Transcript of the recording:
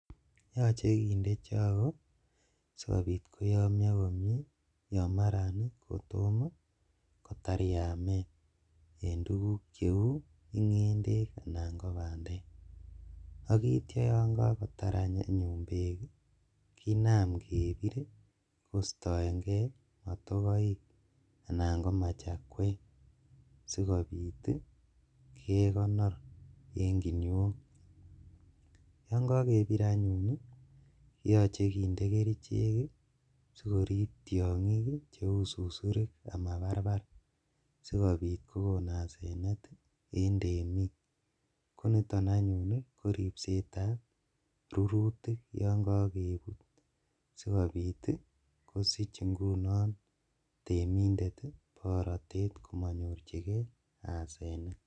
Yoche kindee chogo sikobit koyomio komie yon maran kotom kotar yamet en tuguk cheu ingendek anan kobandek, ak itio yon kakotar ngendek kinam kebir kostoengee motokoik anan komachakwek sikobit kekonor en kinuiok , yon kokebir anyun koyoche kinde kerichek sikorib tiongik cheu susurik ama barbar sikobit kokon asenet en temik, koniton anyun koripsetab rurutik yon kokebut sikobit ingunon kosich temindet borotet komonyorjigee asenet.